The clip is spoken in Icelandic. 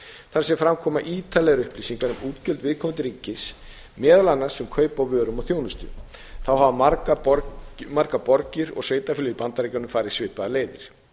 þar sem fram koma ítarlegar upplýsingar um útgjöld viðkomandi ríkis meðal annars um kaup á vörum og þjónustu þá hafa margar borgir og sveitarfélög í bandaríkjunum farið svipaðar leiðir